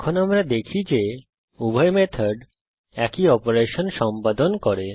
এখন আমরা দেখি যে উভয় মেথড একই অপারেশন সম্পাদন করে